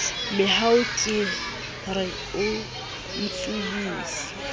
mehau ke re o ntsubise